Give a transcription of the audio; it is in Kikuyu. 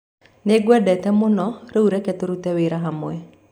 Nĩngwendete mũno, rĩu reke tũrute wĩra hamwe.